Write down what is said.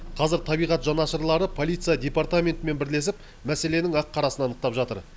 қазір табиғат жанашырлары полиция департаментімен бірлесіп мәселенің ақ қарасын анықтап жатыр